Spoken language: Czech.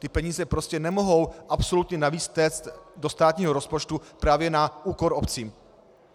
Ty peníze prostě nemohou absolutně navíc téct do státního rozpočtu právě na úkor obcí.